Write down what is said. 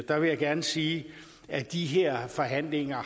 der vil jeg gerne sige at de her forhandlinger